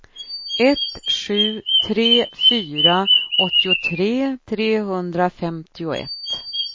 ett sju tre fyra åttiotre trehundrafemtioett